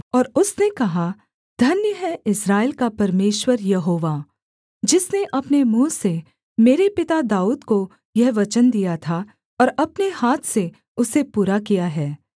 और उसने कहा धन्य है इस्राएल का परमेश्वर यहोवा जिसने अपने मुँह से मेरे पिता दाऊद को यह वचन दिया था और अपने हाथ से उसे पूरा किया है